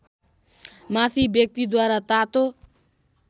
माथि व्यक्तिद्वारा तातो